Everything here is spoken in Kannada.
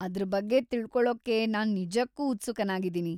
ಅದ್ರ ಬಗ್ಗೆ ತಿಳ್ಕೊಳೋಕ್ಕೆ ನಾನು ನಿಜಕ್ಕೂ ಉತ್ಸುಕನಾಗಿದೀನಿ.